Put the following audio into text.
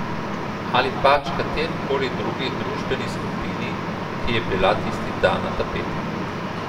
Ali pač katerikoli drugi družbeni skupini, ki je bila tisti dan na tapeti.